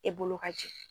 E bolo ka jɛ